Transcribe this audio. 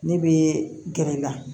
Ne bɛ gɛrɛ i la